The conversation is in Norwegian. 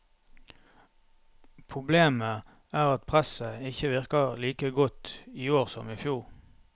Problemet er at presset ikke virker like godt i år som i fjor.